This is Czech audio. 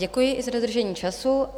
Děkuji i za dodržení času.